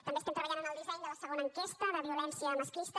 també estem treballant en el disseny de la segona enquesta de violència masclista